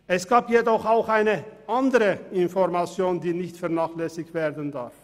Es gab jedoch auch eine andere Information, die nicht vernachlässigt werden darf: